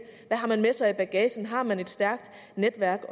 hvad har man med sig i bagagen har man et stærkt netværk